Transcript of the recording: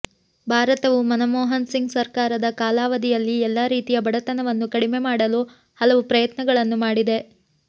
ಭಾರತವು ಮನಮೋಹನ್ ಸಿಂಗ್ ಸರ್ಕಾರದ ಕಾಲಾವಧಿಯಲ್ಲಿ ಎಲ್ಲ ರೀತಿಯ ಬಡತನವನ್ನು ಕಡಿಮೆ ಮಾಡಲು ಹಲವು ಪ್ರಯತ್ನಗಳನ್ನು ಮಾಡಿದೆ